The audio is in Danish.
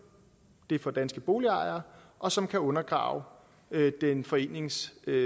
det for danske boligejere og som kan undergrave den foreningsstyrede